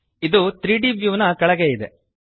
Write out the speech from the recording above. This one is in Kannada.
ಇದು 3ದ್ ವ್ಯೂ ನ ಕೆಳಗೆ ಇದೆ